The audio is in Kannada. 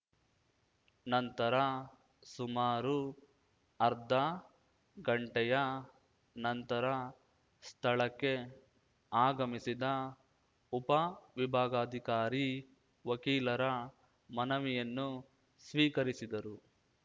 ನಂತರ ಸುಮಾರು ಅರ್ಧ ಗಂಟೆಯ ನಂತರ ಸ್ಥಳಕ್ಕೆ ಆಗಮಿಸಿದ ಉಪವಿಬಾಗಾಧಿಕಾರಿ ವಕೀಲರ ಮನವಿಯನ್ನು ಸ್ವೀಕರಿಸಿದರು